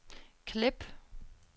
klip